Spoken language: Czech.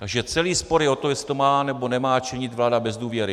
Takže celý spor je o to, jestli to má, nebo nemá činit vláda bez důvěry.